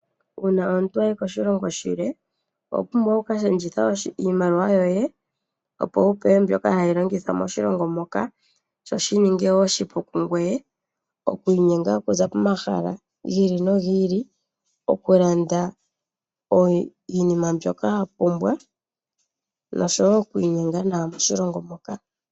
Uuna omuntu ayi koshilongo shi ili owa pumbwa oku ka shendjitha iimaliwa yoye opo wu pewe mbyoka hayi longithwa moshilongo moka sho shi ninge oshipu kungweye oku inyenga okuza pomahala gi ili nogi ili. Oku landa iinima mbyoka wa pumbwa, nosho wo okwiininga nawa moshilongo moka.